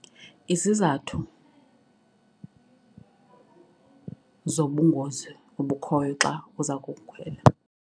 Izizathu zobungozi obukhoyo xa uza kukhwela.